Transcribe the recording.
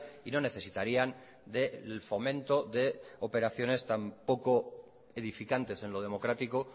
y no necesitarían del fomento de operaciones tan poco edificantes en lo democrático